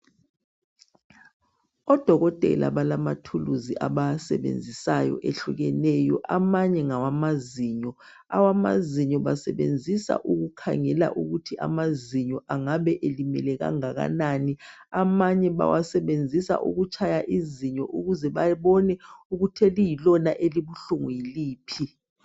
Odokotela balama thuluzi abawasebenzisayo ehlukeneyo. Amanye ngawamazinyo. Awamazinyo basebenzisa ukukhangela ukuthi amazinyo angabe elimele kangakanani. Amanye bawasebenzisa ukutshaya izinyo ukuze babone ukuthi eliyilona elibuhlungu yiliphi.